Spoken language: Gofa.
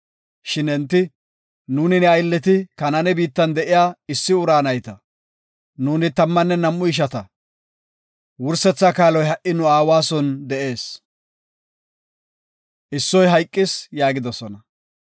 Shin enti, “Nuuni ne aylleti Kanaane biittan de7iya issi ura nayta; nuuni tammanne nam7u ishanta. Wursetha kaaloy ha7i nu aawara son de7ees, issoy hayqis” yaagidosona.